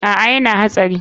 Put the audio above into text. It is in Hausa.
A,yana hana hatsari.